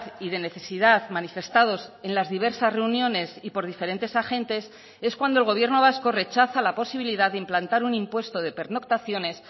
y de necesidad manifestados en las diversas reuniones y por diferentes agentes es cuando el gobierno vasco rechaza la posibilidad de implantar un impuesto de pernoctaciones